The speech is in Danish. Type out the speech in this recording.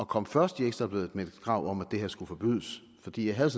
komme først i ekstra bladet med krav om at det her skulle forbydes fordi jeg havde